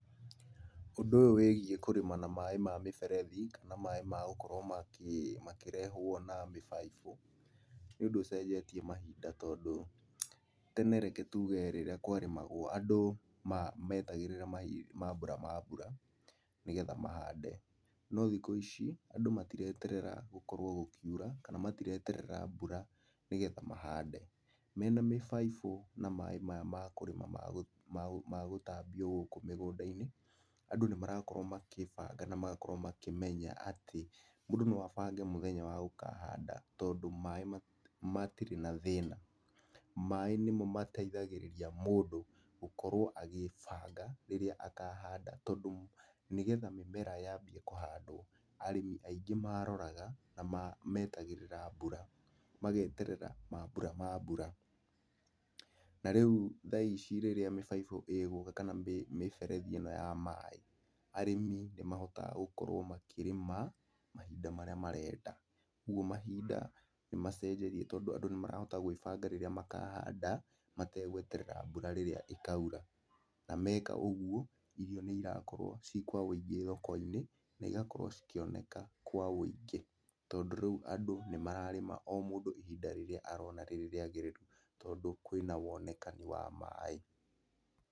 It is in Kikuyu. Ũndũ ũyũ wĩgiĩ kũrĩma na maĩ mamĩberethi kana maĩ magũkorwo makĩrehwo na mĩbaibũ nĩ ũndũ ũcenjetie mahinda tondũ tene reke tuge rĩrĩa kwarĩmagwo andũ, metagĩrĩra mambura ma mbura, nĩgetha mahande.No thikũ ici, andũ matireterera gũkoro gũkiura, kana matireterera mbura nĩguo mahande, mena mĩbaibũ na maĩ maya makũrĩma na magũtambio gũkũ mĩgũnda -inĩ, andũ nĩ marakorwo makĩbanga na magakorwo makĩmenya atĩ mũndũ no abange mũthenya wa gũkahanda tondũ, maĩ matirĩ na thĩna, maĩ nĩmo mateithagĩrĩria mũndũ gũkorwo agĩbanga rĩrĩa akahanda tondũ, nĩgetha mĩmera yambie kũhandwo arĩmi aingĩ mararoraga na metagĩrĩra mbura, mageterera mambura ma mbura. Na rĩu tha ici rĩrĩa mĩbaibũ ĩgũka kana mĩberethi ĩno ya maĩ, arĩmi nĩmahotaga gũkorwo makĩrĩma, mahinda marĩa marenda, koguo mahinda nĩmacenjetie andũ nĩmarahota gwĩbanga rĩrĩa makahanda mategweterera mbura ĩrĩa ĩkaura na meka ũguo irio nĩirakorwo cikwaũingĩ thoko-inĩ na ĩgakorwo cikĩoneka kwa woingĩ tondũ rĩu andũ nĩmararĩma o mũndũ hinda rĩrĩa arona rĩrĩagĩrĩru tondũ, kwĩna wonekani wa maĩ.